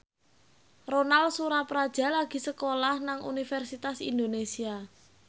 Ronal Surapradja lagi sekolah nang Universitas Indonesia